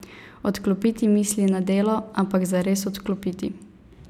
Odklopiti misli na delo, ampak zares odklopiti.